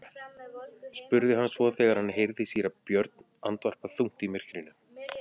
spurði hann svo þegar hann heyrði síra Björn andvarpa þungt í myrkrinu.